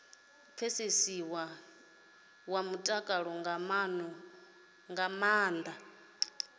wa mutakalo nga maana vha